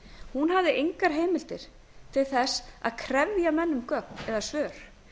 hún hafði engar heimildir til að krefja menn um gögn eða svör